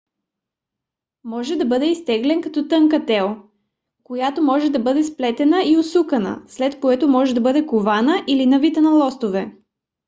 може да бъде изтеглен като тънка тел която може да бъде сплетена и усукана след което може да бъде кована или навита на листове